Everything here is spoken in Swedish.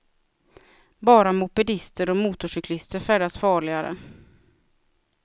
Bara mopedister och motorcyklister färdas farligare.